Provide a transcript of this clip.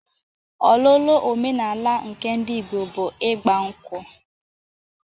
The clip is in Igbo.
Ọlụlụ omenala nke ndị Igbo bụ ịgba nkwụ